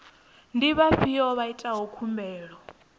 ndi vhafhiyo vha itaho khumbelo